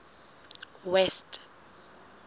west